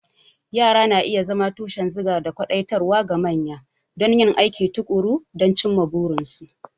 Yara na iya zama tushen zuga da kwadaitarwa ga manya don yin aiki tuƙuru da cimma burinsu.